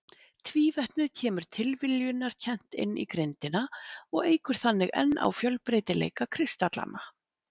Tvívetnið kemur tilviljunarkennt inn í grindina og eykur þannig enn á fjölbreytileika kristallanna.